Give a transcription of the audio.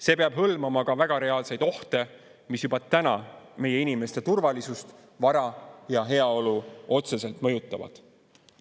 See peab hõlmama ka väga reaalseid ohte, mis juba täna meie inimeste turvalisust, vara ja heaolu otseselt mõjutavad.